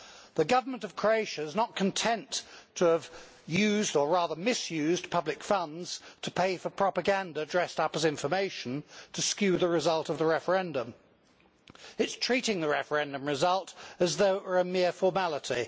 The Government of Croatia is not content to have used or rather misused public funds to pay for propaganda dressed up as information to skew the result of the referendum. It is treating the referendum result as though it were a mere formality.